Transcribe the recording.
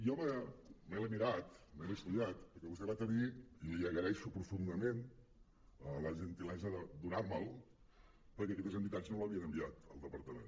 jo me l’he mirat me l’he estudiat perquè vostè va tenir i l’hi agraeixo profundament la gentilesa de donar me’l perquè aquestes entitats no l’havien enviat al departament